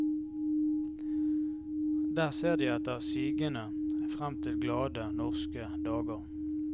Der ser de etter sigende frem til glade norske dager.